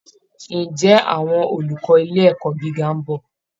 Ǹjẹ́ àwọn olùkọ́ ilé ẹ̀kọ́ gíga ń bọ̀?